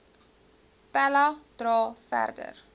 pella dra verder